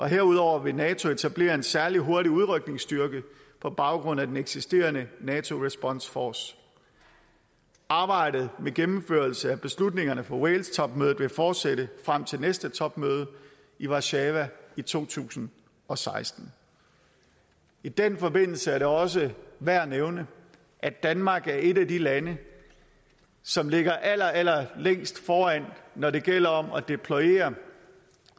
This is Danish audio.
herudover vil nato etablere en særlig hurtig udrykningsstyrke på baggrund af den eksisterende nato response force arbejdet med gennemførelse af beslutningerne fra walestopmødet vil fortsætte frem til næste topmøde i warszawa i to tusind og seksten i den forbindelse er det også værd at nævne at danmark er et af de lande som ligger allerallerlængst foran når det gælder om at deployere